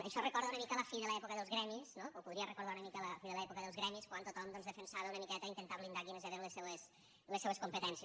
això recorda una mica la fi de l’època dels gremis no o podria recordar una mica l’època de la fi dels gremis quan tothom doncs defensava una miqueta intentar blindar quines eren les seues competències